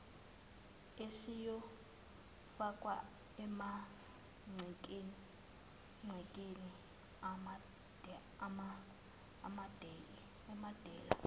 esiyofakwa emagcekeni amadela